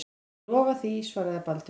Ég lofa því, svaraði Baldvin.